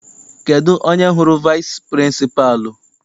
Kedụ onye hụrụ vici pịrịnsịpalụ?